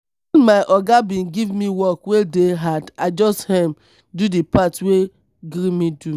wen my oga bin give me work wey dey hard i just um do di part wey gree me do.